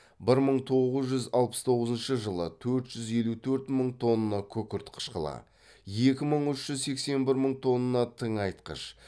бір мың тоғыз жүз алпыс тоғызыншы жылы төрт жүз елу төрт мың тонна күкірт қышқылы екі мың үш жүз сексен бір мың тонна тыңайтқыш